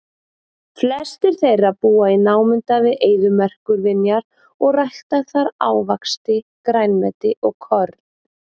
Flestir þeirra búa í námunda við eyðimerkurvinjar og rækta þar ávaxti, grænmeti og korn.